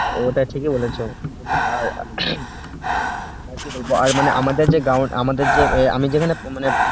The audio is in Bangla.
এটা ঠিকই বলেছো আর আর কি বলবো মানে আমাদের যে ground আমাদের যে আমি যেখানে যে মানে